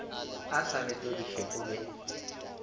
a sa betodiše o be